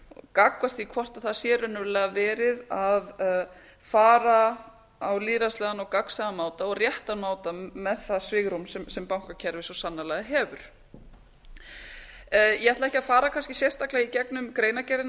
gagnvart því hvort það sé raunverulega verið að fara á lýðræðislegan og gagnsæjan máta og réttan máta með það svigrúm sem bankakerfið svo sannarlega hefur ég ætla ekki að fara kannski sérstaklega í gegnum greinargerðina